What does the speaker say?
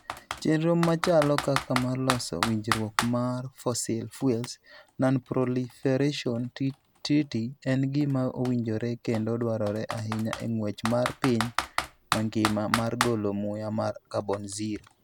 Chenro machalo kaka mar loso winjruok mar Fossil Fuels Non-Proliferation Treaty en gima owinjore kendo dwarore ahinya e ng'wech mar piny mangima mar golo muya mar carbon zero.